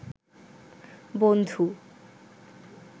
বন্ধু